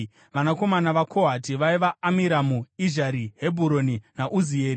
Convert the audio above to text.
Vanakomana vaKohati vaiva: Amiramu, Izhari, Hebhuroni naUzieri.